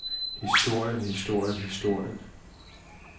historien historien historien